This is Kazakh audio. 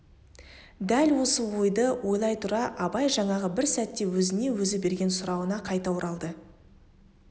дәл осы ойды ойлай тұра абай жаңағы бір сәтте өзіне өзі берген сұрауына қайта оралды